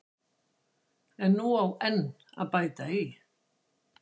En nú á enn að bæta í.